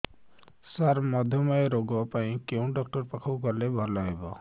ସାର ମଧୁମେହ ରୋଗ ପାଇଁ କେଉଁ ଡକ୍ଟର ପାଖକୁ ଗଲେ ଭଲ ହେବ